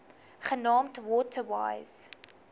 genaamd water wise